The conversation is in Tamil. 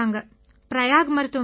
பிரயாக் மருத்துவமனையில